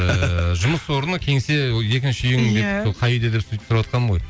ыыы жұмыс орны кеңсе екінші үйің дейді иә сол қай үйде деп сөйтіп сұраватқаным ғой